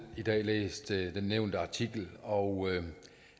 i dag læst den nævnte artikel og